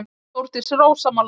Þórdís er ósammála því.